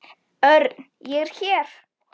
Örn, ég er hér